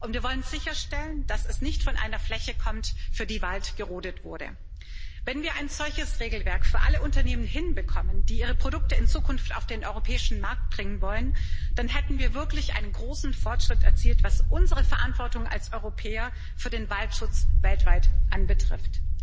Wir wollen sicherstellen, dass es nicht von einer Fläche kommt, für die Wald gerodet wurde. Wenn wir ein solches Regelwerk für alle Unternehmen hinbekommen, die ihre Produkte in Zukunft auf den europäischen Markt bringen wollen, dann hätten wir wirklich einen großen Fortschritt erzielt, was unsere Verantwortung als Europäer für den Waldschutz weltweit betrifft.